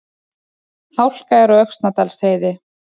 Hálka er á Öxnadalsheiði